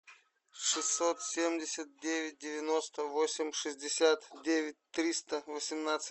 шестьсот семьдесят девять девяносто восемь шестьдесят девять триста восемнадцать